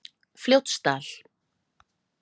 Fljótsdal